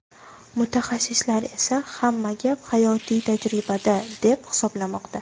Mutaxassislar esa hamma gap hayotiy tajribada, deb hisoblamoqda.